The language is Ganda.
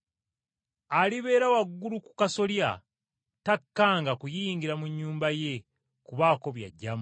Alibeera waggulu ku kasolya, takkanga kuyingira mu nnyumba ye kubaako byaggyamu.